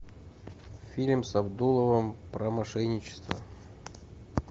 фильм с абдуловым про мошенничество